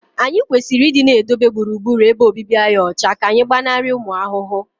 anyị kwesịrị ịdị na-edobe gburugburu ebe obibi anyị ọcha ka anyị gbanarị ụmụ ahụhụ